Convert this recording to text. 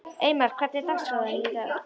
Eymar, hvernig er dagskráin í dag?